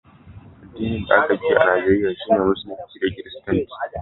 addinin da a ka fi yi a Najeriya shi ne musulunci da kiristanci